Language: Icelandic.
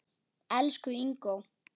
Elsku Ingó.